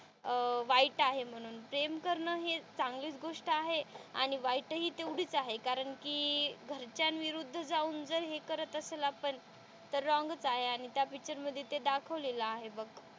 अह वाईट आहे म्हणून प्रेम करणं हे चांगलीच गोष्ट आहे आणि वाईट हि तेवढीच आहे कारण कि घराच्या विरुद्ध जाऊन जर हे करत असेल आपण तर रॉंगच आहे आणि त्या पिक्चरमध्ये ते दाखवलेलं आहे बघ.